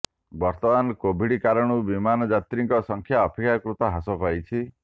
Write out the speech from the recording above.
ବର୍ତ୍ତମାନ କୋଭିଡ୍ କାରଣରୁ ବିମାନ ଯାତ୍ରୀଙ୍କ ସଂଖ୍ୟା ଅପେକ୍ଷାକୃତ ହ୍ରାସ ପାଇଛି